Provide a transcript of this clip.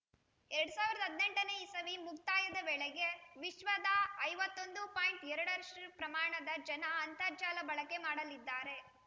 ಎರಡ್ ಸಾವಿರದ ಹದಿನೆಂಟನೇ ಇಸವಿ ಮುಕ್ತಾಯದ ವೇಳೆಗೆ ವಿಶ್ವದ ಐವತ್ತೊಂದು ಪಾಯಿಂಟ್ ಎರಡರಷ್ಟುಪ್ರಮಾಣದ ಜನ ಅಂತರ್ಜಾಲ ಬಳಕೆ ಮಾಡಲಿದ್ದಾರೆ